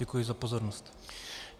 Děkuji za pozornost.